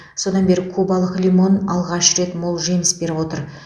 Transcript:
содан бері кубалық лимон алғаш рет мол жеміс беріп отыр